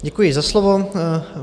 Děkuji za slovo.